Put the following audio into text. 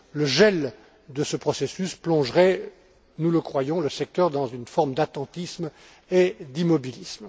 Le gel de ce processus plongerait, nous le croyons, le secteur dans une forme d'attentisme et d'immobilisme.